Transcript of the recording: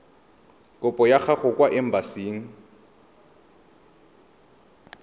kopo ya gago kwa embasing